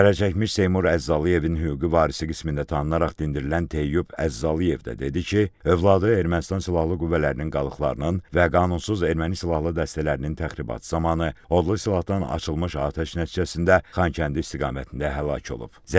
Zərərçəkmiş Seymur Əzzalıyevin hüquqi varisi qismində tanınaraq dindirilən Teyyub Əzzalıyev də dedi ki, övladı Ermənistan silahlı qüvvələrinin qalıqlarının və qanunsuz erməni silahlı dəstələrinin təxribatı zamanı odlu silahdan açılmış atəş nəticəsində Xankəndi istiqamətində həlak olub.